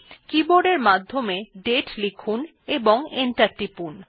keyboard এর মাধ্যমে দাতে লিখুন এবং এন্টার টিপুন